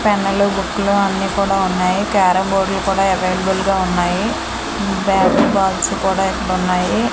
Pen లు book లు అన్నీ కూడా ఉన్నాయి క్యారం బోర్డు లు కూడా అవైలబుల్ గా ఉన్నాయి బ్యాటు బాల్స్ కూడా ఇక్కడ ఉన్నాయి.